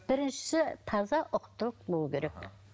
біріншісі таза ұқыптылық болуы керек